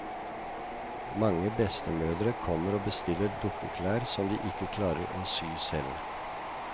Mange bestemødre kommer og bestiller dukkeklær som de ikke klarer å sy selv.